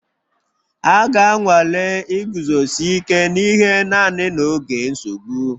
A ga-anwale iguzosi ike n'ihe naanị n'oge nsogbu